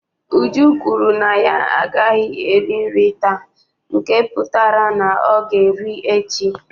Uju kwuru na ya agaghị eri nri taa nke pụtara na ọ ga-eri echi